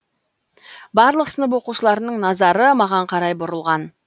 барлық сынып оқушыларының назары маған қарай бұрылған